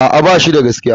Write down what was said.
A'a, ba shi da gaskiya.